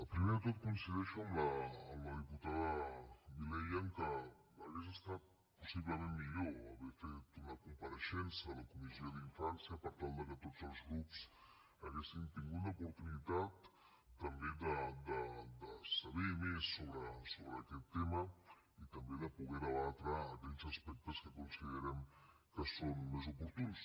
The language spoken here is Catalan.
primer de tot coincideixo amb la diputada vilella que hauria estat possiblement millor haver fet una compareixença a la comissió d’infància per tal que tots els grups haguéssim tingut l’oportunitat també de saber més sobre aquest tema i també de poder debatre aquells aspectes que considerem que són més oportuns